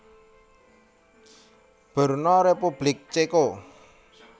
Brno Republik Ceko